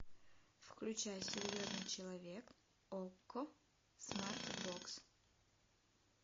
включай серьезный человек окко смартбокс